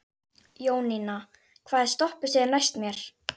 Jóninna, hvaða stoppistöð er næst mér?